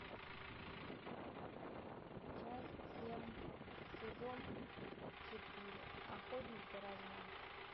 часть семь сезон четыре охотник за разумом